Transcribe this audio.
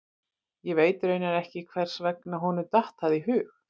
Ég veit raunar ekki hvers vegna honum datt það í hug.